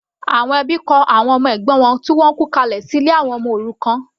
Àwọn ẹbí kọ àwọn ọmọ ẹ̀gbọ́n wọn tó kú kalẹ̀ sí ilé àwọn ọmọ òrukàn.